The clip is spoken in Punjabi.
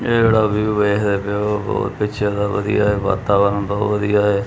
ਇਹ ਜਿਹੜਾ ਵਿਊ ਵੇਖਦੇ ਪਏ ਹੋ ਬਹੁਤ ਪਿੱਛੇ ਦਾ ਬਹੁਤ ਵਧੀਆ ਵਾਤਾਵਰਨ ਬਹੁਤ ਵਧੀਆ ਐ।